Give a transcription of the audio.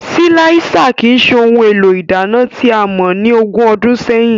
Silạisa kii ṣe ohun élo ìdana tià mọ ni ógùn ọdùn sẹyin.